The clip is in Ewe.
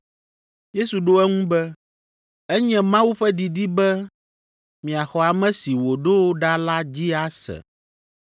Yesu ɖo eŋu be, “Enye Mawu ƒe didi be miaxɔ ame si wòɖo ɖa la dzi ase.”